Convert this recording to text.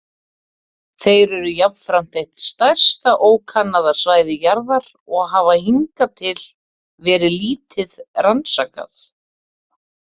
Þeir eru jafnframt eitt stærsta ókannaða svæði jarðar og hafa hingað til verið lítið rannsakað.